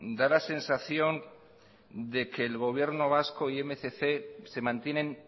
da la sensación de que el gobierno vasco y mil doscientos se mantienen